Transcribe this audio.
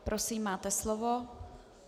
Prosím, máte slovo.